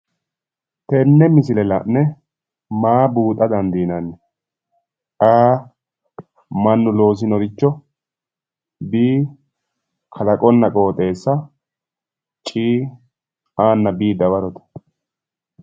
Tenne misile la'ne maa buuxa dandiinanni? A. Mannu loosinoricho B. Kalaqonna qooxeessa C. A nna B dawarote